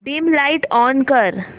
dim light on कर